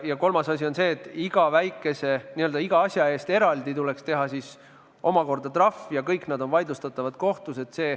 Kolmas asi on see, et iga asja eest eraldi tuleks teha omakorda trahv ja kõik need on vaidlustatavad kohtus.